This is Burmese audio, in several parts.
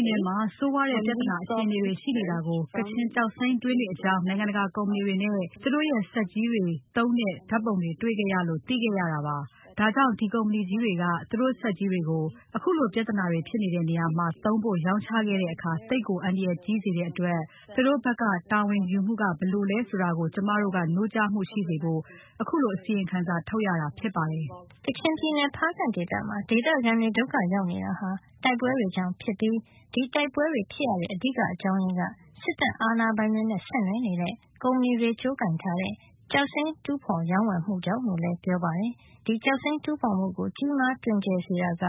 ်နယ်မှာ ဆိုးရွားတဲ့ပြဿနာအခြေအနေတွေ ရှိနေတာကို ကချင်ကျောက်စိမ်းတွင်းတွေအကြောင်း နိုင်ငံတကာ ကုမ္ပဏီတွေနဲ့ သူတို့ရဲ့ စက်ကြီးတွေ သုံးတဲ့ ဓါတ်ပုံတွေ တွေ့ခဲ့ရလို့ သိခဲ့ရတာပါ။ ဒါကြောင့် ဒီကုမ္ပဏီကြီးတွေက သူတို့စက်ကြီးတွေကို အခုလို ပြဿနာတွေဖြစ်နေတဲ့နေရာမှာ သုံးဖို့ ရောင်းချခဲ့တဲ့အခါ သိပ်ကို အန္တရာယ်ကြီးစေတဲ့အတွက် သူတို့ဘက်က တာဝန်ယူမှုက ဘယ်လိုလဲဆိုတာ ကျမတို့က နှိုးကြားဖို့ရှိစေဖို့ အခုလို အစီရင်ခံစာထုတ်ရတာဖြစ်ပါတယ်။" ကချင်ပြည်နယ် ဖားကန့်ဒေသမှာ ဒေသခံတွေ ဒုက္ခရောက်နေတာဟာ တိုက်ပွဲတွေကြောင့်ဖြစ်ပြီး ဒီတိုက်ပွဲတွေ ဖြစ်ရတဲ့ အဓိက အကြောင်းရင်းက စစ်တပ်အာဏာပိုင်တွေနဲ့ ဆက်နွယ်နေတဲ့ ကုမ္ပဏီတွေကြိုးကိုင်ထားတဲ့ ကျောက်စိမ်းတူးဖေါ်ရောင်းဝယ်မှုကြောင့် လို့လည်း ပြောပါတယ်။ ဒီကျောက်စိမ်းတူးဖေါ်မှုကို ကြီးမားတွင်ကျယ်စေတာက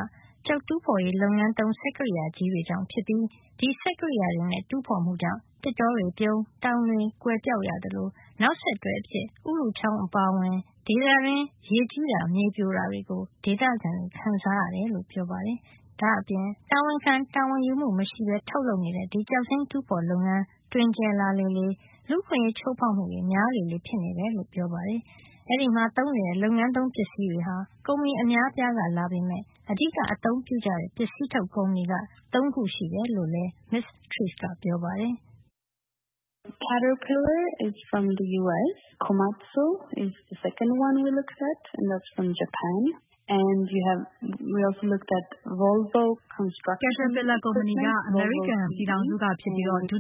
ကျောက်တူးဖေါ်ရေး လုပ်ငန်းသုံးစက်ကရိယာကြီးတွေကြောင့်ဖြစ်ပြီး ဒီစက်ကရိယာတွေနဲ့ တူးဖေါ်မှုကြောင့် သစ်တောတွေပြုန်း၊ တောင်တွေကွယ်ပျောက်ရသလို နောက်ဆက်တွဲအဖြစ် ဥရုချောင်းအပါအဝင် ဒေသတွင်း ရေကြီးတာ မြေပြိုတာတွေကို ဒေသခံတွေခံစားရတယ်လို့ ပြောပါတယ်။ ဒါ့အပြင် တာဝန်ခံ တာဝန်ယူမှု မရှိပဲ ထုတ်နေတဲ့ ဒီကျောက်စိမ်းတူးဖေါ်တဲ့ လုပ်ငန်း တွင်ကျယ်လေလေ လူ့အခွင့်ရေးချိုးဖေါက်မှုတွေ များလေလေ ဖြစ်နေတယ်လို့ ဆိုပါတယ်။ အဲဒီမှာ သုံးနေတဲ့ လုပ်ငန်းသုံးပစ္စည်းတွေဟာ ကုမ္ပဏီအများအပြားကလာပေမယ့် အဓိကအသုံးပြုနေကြတဲ့ ပစ္စည်းထုတ် ကုမ္ပဏီကတော့ ၃ ခုရှိတယ်လို့လည်း မစ္စ Therese ကပြောပါတယ်။ "Caterpillar က အမေရိကန်က ဖြစ်ပြီး၊ ဒု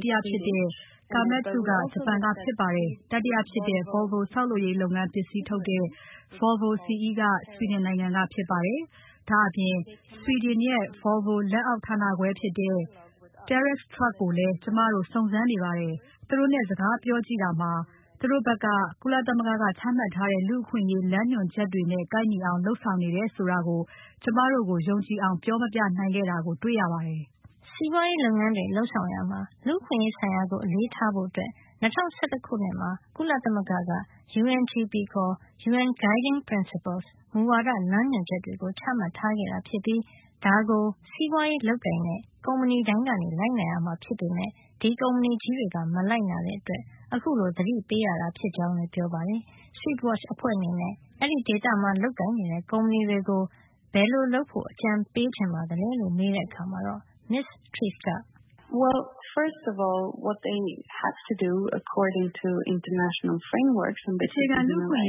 တိယဖြစ်တဲ့ Komatsu က ဂျပန်က ဖြစ်ပါတယ်။ တတိယဖြစ်တဲ့ Volvo CE က ဆွီဒင်က ဖြစ်ပါတယ်။ ဒါ့အပြင် ဆွီဒင်ရဲ့ Volvo လက်အောက် ဌာနခွဲဖြစ်တဲ့ Terrif Truck ကိုလည်း ကျမတို့စုံစမ်းနေပါတယ်။ သူတို့နဲ့စကားပြောကြည့် တာမှာ သူတို့ ဘက်က ကုလသမဂ္ဂက ချမှတ်ထားတဲ့ လမ်းညွှန်အချက်တွေနဲ့ ကိုက်ညီအောင် လုပ် ဆောင်နေတယ် ဆိုတာကို ကျမတို့ကို ယုံကြည်အောင် ပြောမပြနိုင်ခဲ့တာကို တွေ့ရပါတယ်။" စီးပွါးရေးလုပ်ငန်းတွေ လုပ်ဆောင်ရာမှာ လူ့အခွင့်ရေးဆိုင်ရာကို အလေးထားဖို့ ၂၀၁၁ ခုနှစ်မှာ ကုလသမဂ္ဂက UNGP ခေါ် UN Guiding Principles မူဝါဒ လမ်းညွှန်ချက်တွေ ချမှတ်ထားခဲ့တာဖြစ်ပြီး ဒါကို စီးပွါးရေးလုပ်ကိုင်တဲ့ ကုမ္ပဏီတိုင်း လိုက်နာရမှာ ဖြစ်ပေမယ့် ဒီကုမ္ပဏီကြီးတွေက မလိုက်နာတဲ့အတွက် အခုလို သတိပေးရတာဖြစ်ကြောင်းလည်း ပြောပါတယ်။ Swedwatch အဖွဲ့အနေနဲ့ ဒီဒေသမှာ လုပ်ကိုင်နေတဲ့ကုမ္ပဏီတွေကို ဘယ်လို လုပ်ဖို့ အကြံပေးချင်ပါသလဲလို့ မေးတဲ့အခါ မစ္စ Therese က- "အခြေခံလူ့အခွင့်အ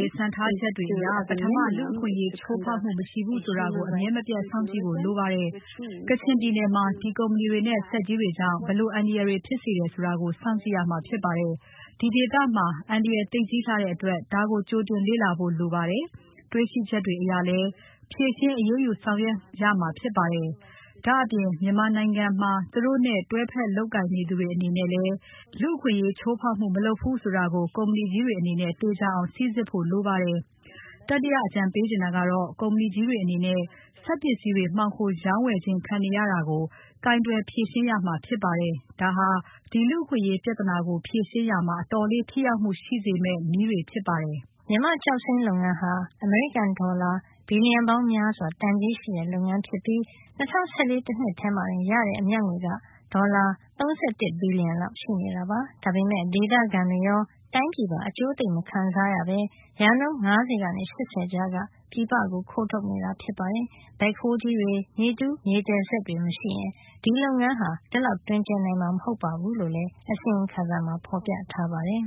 ရေး စံထားချက်တွေ အရ ပထမ လူ့အခွင့်အရေး ချိုးဖေါက်မှု မရှိဘူး ဆိုတာကို အမြဲမပြတ် စောင့်ကြည့်ဖို့ လိုပါတယ်။ ကချင်ပြည်နယ်မှာ ဒီကုမ္ဗဏီထုတ် စက်ကြီးတွေကြောင့် ဘယ်လို အန္တရာယ်တွေဖြစ်စေတယ် ဆိုတာကို စောင့်ကြည့်ရမှာ ဖြစ်ပါတယ်။ ဒီဒေသမှာ အန္တရာယ် သိပ်ကြီးလှတဲ့ အတွက် ဒါကို ကြိုတင် လေ့လာဖို့ လိုပါတယ်။ တွေ့ရှိချက်တွေ အရလည်း ချက်ချင်း အရေးယူ ဆောင်ရွက်ရမှာ ဖြစ်ပါတယ်။ ဒါ့အပြင် မြန်မာနိုင်ငံမှာ သူတို့ နဲ့တွဲဘက် လုပ်ကိုင်နေသူတွေ အနေနဲ့ လည်း လူ့အခွင့်ရေး ချိုးဖေါက်မှုမလုပ်ဖူး ဆိုတာကို ကုမ္ဗဏီကြီးတွေက သေသေချာချာ စိစစ်ဖို့ လိုပါတယ်။" တတိယ အကြံပေးချင်တာ ကတော့ ကုမ္ဗဏီ ကြီးတွေ အနေနဲ့ စက်ပစ္စည်းတွေ မှောင်ခို ရောင်းဝယ်ခြင်း ခံနေရတာကို ကိုင်တွယ် ဖြေရှင်းရမှာ ဖြစ်ပါတယ်။ ဒါဟာ ဒီလူ့အခွင့်အရေး ပြဿနာကို ဖြေရှင်းရာမှာ အတော်လေး ထိထိရောက်ရောက် ရှိစေမယ့် နည်းတွေ ဖြစ်ပါတယ်။ မြန်မာ့ကျောက်စိမ်းလုပ်ငန်းဟာ အမေရိကန် ဒေါ်လာ ဘီလျံပေါင်းများစွာတန်ကြေးရှိတဲ့ လုပ်ငန်းဖြစ်ပြီး ၂၀၁၄ တနှစ်ထဲမှာတင် ရတဲ့ အမြတ်ငွေက ဒေါ်လာ ၃၁ ဘီလံလောက် ရှိနေတာပါ။ ဒါပေမယ့် ဒေသခံတွေရော တိုင်းပြည်ပါ အကျိုးသိပ်မခံစားရပဲ ရာခိုင်နှုန်း ၅၀ ကနေ ၈၀ ကြားက ပြည်ပကို ခိုးထုတ်နေတာ ဖြစ်ပါတယ်။ ဘက်ဟိုးကြီးတွေ မြေတူးမြေသယ်စက်တွေမရှိရင် လုပ်ငန်းဟာ ဒီလောက် တွင်ကျယ်နိုင်မှာ မဟုတ်ဖူးလို့လည်း အစီရင်ခံစာမှာ ဖေါ်ပြထားပါတယ်။